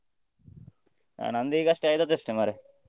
ನಂದು ಈಗಷ್ಟೇ ಆದದ್ದಷ್ಟೇ ಮಾರ್ರೆ.